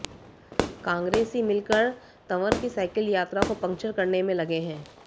कांग्रेसी मिलकर तंवर की साइकिल यात्रा को पंक्चर करने में लगे हैं